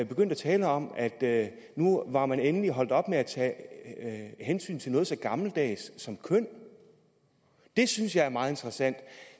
begyndte at tale om at nu var man endelig holdt op med at tage hensyn til noget så gammeldags som køn det synes jeg er meget interessant